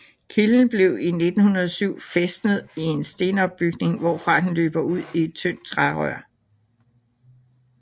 Kilden blev i 1907 fæstnet i en stenopbygning hvorfra den løber ud i et tyndt trærør